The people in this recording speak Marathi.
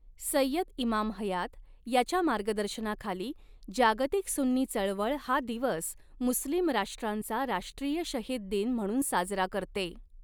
सय्यद इमाम हयात याच्या मार्गदर्शनाखाली जागतिक सुन्नी चळवळ हा दिवस मुस्लिम राष्ट्रांचा राष्ट्रीय शहीद दिन म्हणून साजरा करते.